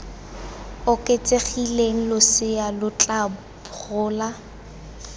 oketsegileng losea lo tla gola